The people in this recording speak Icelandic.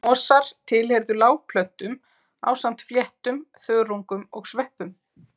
Mosar tilheyrðu lágplöntum ásamt fléttum, þörungum og sveppum.